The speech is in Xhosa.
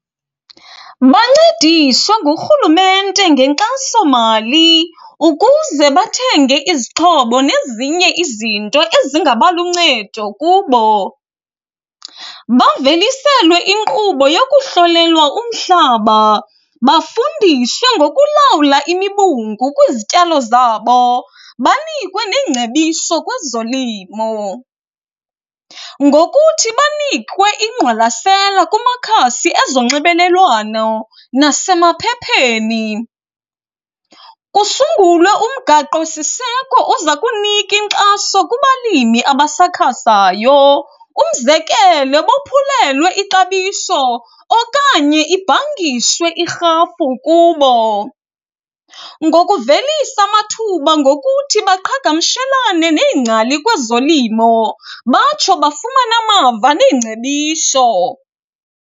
Bancediswe ngurhulumente ngenkxasomali ukuze bathenge izixhobo nezinye izinto ezingaba luncedo kubo. Baveliselwe inkqubo yokuhlolelwa umhlaba, bafundiswe ngokulawula imibungu kwizityalo zabo. Banikwe neengcebiso kwezolimo ngokuthi banikwe ingqwalasela kumakhasi ezonxebelelwano nasemaphepheni. Kusungulwe umgaqo siseko ozakunika inkxaso kubalimi abasakhasayo, umzekelo bophulelwe ixabiso okanye ibhangiswe irhafu kubo. Ngokuvelisa amathuba ngokuthi baqhagamshelane neengcali kwezolimo batsho bafumane amava neengcebiso.